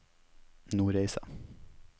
Nordreisa